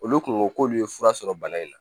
Olu kun ko k'olu ye fura sɔrɔ bana in na